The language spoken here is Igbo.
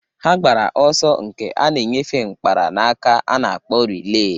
Ha gbara ọsọ nke a na-enyefe mkpara na-aka a na-akpọ rilee.